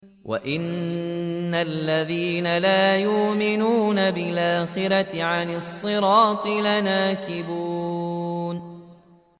وَإِنَّ الَّذِينَ لَا يُؤْمِنُونَ بِالْآخِرَةِ عَنِ الصِّرَاطِ لَنَاكِبُونَ